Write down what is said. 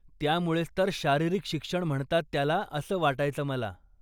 त्यामुळेच तर शारीरिक शिक्षण म्हणतात त्याला असं वाटायचं मला.